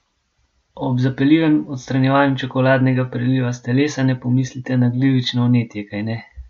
Ob zapeljivem odstranjevanju čokoladnega preliva s telesa ne pomislite na glivično vnetje, kajne?